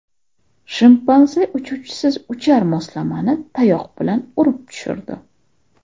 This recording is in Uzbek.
Shimpanze uchuvchisiz uchar moslamani tayoq bilan urib tushirdi .